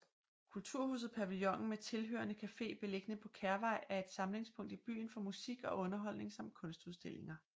Kulturhuset Pavillonen med tilhørende cafe beliggende på Kærvej er et samlingspunkt i byen for musik og underholdning samt kunstudstillinger